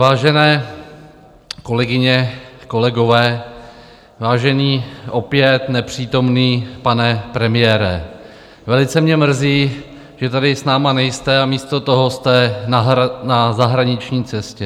Vážené kolegyně, kolegové, vážený opět nepřítomný pane premiére, velice mě mrzí, že tady s námi nejste, a místo toho jste na zahraniční cestě.